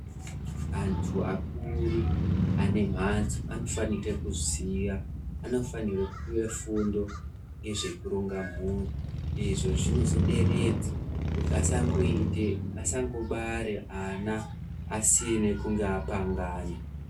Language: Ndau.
Antu akuru ane mhatso anofanike kuziya, anofanirwe kupiwe fundo yezvekuronga mhuri. Izvo zvinozoderedza kuti asangoite, asangobare ana asine kunge apangana.